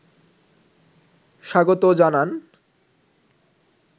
স্বাগত জানান